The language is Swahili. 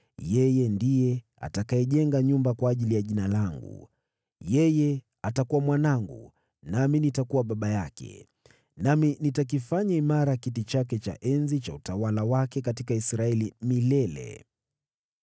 Yeye ndiye atakayejenga nyumba kwa ajili ya Jina langu. Yeye atakuwa mwanangu, nami nitakuwa baba yake. Nami nitakifanya imara kiti chake cha enzi cha utawala wake katika Israeli milele.’